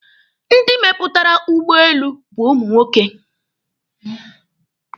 Ndị mepụtara ụgbọelu bụ ụmụ nwoke.